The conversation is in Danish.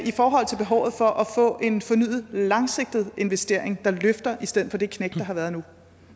i forhold til behovet for at få en fornyet langsigtet investering der løfter i stedet for det knæk der har været nu